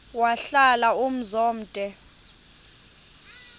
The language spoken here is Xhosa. wahlala umzum omde